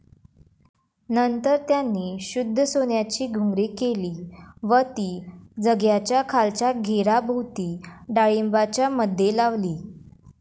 नंतर त्यांनी शुद्ध सोन्याची घुंगरे केली व ती झग्याच्या खालच्या घेराभोवती डाळींबाच्यामध्ये लावली.